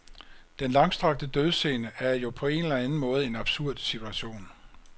Den langstrakte dødsscene er jo på en eller anden måde en absurd situation.